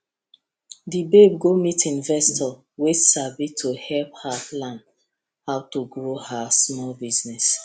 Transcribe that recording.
the babe go meet investor wey sabi to help her plan how to grow her small business